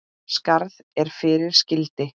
Skarð er fyrir skildi.